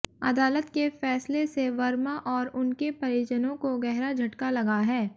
अदालत के फैसले से वर्मा और उनके परिजनों को गहरा झटका लगा है